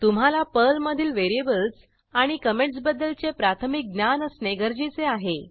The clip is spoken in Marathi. तुम्हाला पर्लमधील व्हेरिएबल्स आणि कॉमेंटसबद्दलचे प्राथमिक ज्ञान असणे गरजेचे आहे